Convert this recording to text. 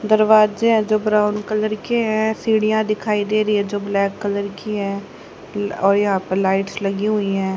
दरवाजे हैं जो ब्राउन कलर के हैं सीढ़ियां दिखाई दे रही हैं जो ब्लैक कलर की हैं और यहां पर लाइट्स लगी हुई हैं।